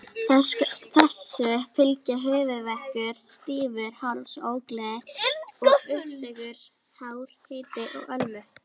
Þessu fylgja höfuðverkur, stífur háls, ógleði og uppköst, hár hiti og lömun.